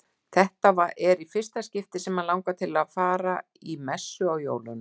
Þetta er í fyrsta skipti sem hann langar til að fara í messu á jólunum.